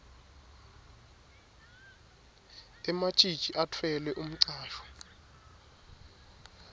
ematjitji atfwele umcwasho